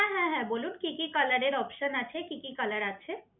হ্যাঁ হ্যাঁ হ্যাঁ বলুন কি কি কালারের অপশন আছে, কি কি কালার আছে?